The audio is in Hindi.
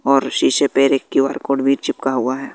और उसी से पईरे एक क्यू_आर कोड भी चिपका हुआ है।